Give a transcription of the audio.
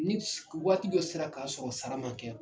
Ni waati dɔ sera ka sɔrɔ sara man kɛ